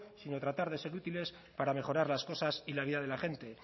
sino tratar de ser útiles para mejorar las cosas y la vida de la gente